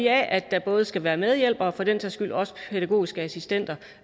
af at der både skal være medhjælpere og for den sags skyld også pædagogiske assistenter